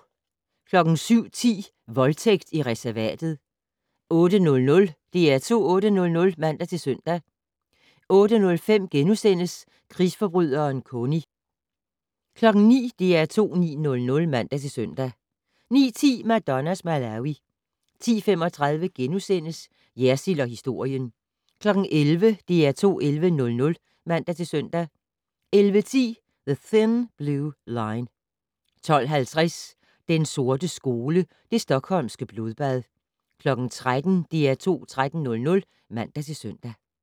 07:10: Voldtægt i reservatet 08:00: DR2 8:00 (man-søn) 08:05: Krigsforbryderen Kony * 09:00: DR2 9:00 (man-søn) 09:10: Madonnas Malawi 10:35: Jersild & historien * 11:00: DR2 11:00 (man-søn) 11:10: The Thin Blue Line 12:50: Den sorte skole: Det Stockholmske blodbad 13:00: DR2 13:00 (man-søn)